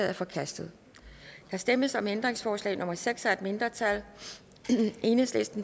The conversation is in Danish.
er forkastet der stemmes om ændringsforslag nummer seks af et mindretal